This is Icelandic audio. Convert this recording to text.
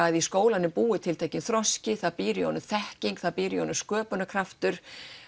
að í skólanum búi tiltekinn þroski það býr í honum þekking og það býr í honum sköpunarkraftur